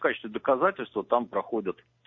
в качестве доказательства там проходит